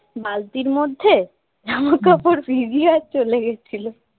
বালতির মধ্যে জামাকাপড় ভিজিয়ে চলে গেছিল